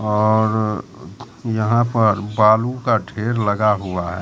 और यहां पर बालू का ढेर लगा हुआ है।